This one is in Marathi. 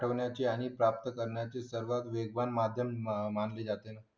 ठेवण्याचे आणि प्राप्त करण्याचे सर्वात वेगवान माध्यम मानले जाते